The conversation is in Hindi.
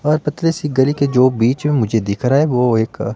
और पतली सी गली के जो बीच में मुझे दिख रहा है वो एक--